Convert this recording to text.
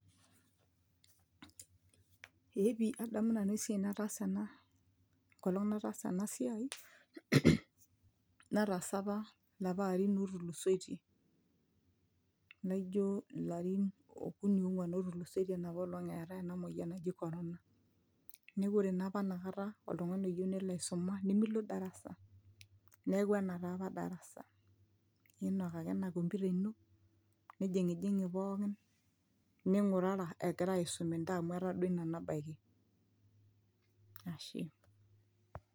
eepi adamu nanu esiai nataasa ena enkolong nataasa ena siai nataasa apa ilapa arin otulusoitie naijo ilarin okuni ong'uan otulusoitie enapolong eetae ena moyian naji corona neeku ore naapa inakata oltung'ani oyieu nelo aisuma nemilo darasa neeku ena taapa darasa inok ake ena computer ino nijing'ijing'i pookin ning'urara egirae aisum intae amu etaa duo ina nabaiki ashe.